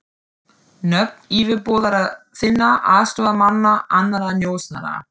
Nöfn yfirboðara þinna, aðstoðarmanna, annarra njósnara.